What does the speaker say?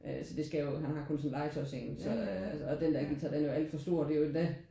Øh så det skal jo han har kun sådan en legetøjs en så øh den der guitar den er jo alt for stor. Den er endda